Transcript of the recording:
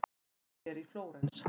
Gerður er í Flórens.